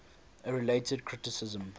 a related criticism